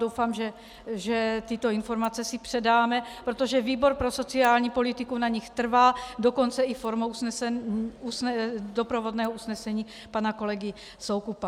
Doufám, že tyto informace si předáme, protože výbor pro sociální politiku na nich trvá dokonce i formou doprovodného usnesení pana kolegy Soukupa.